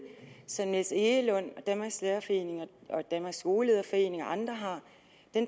som niels egelund og danmarks lærerforening og danmarks skolelederforening og andre har